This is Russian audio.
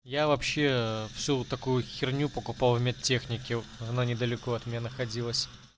я вообще всю вот такую херню покупал в медтехнике она недалеко от меня находилась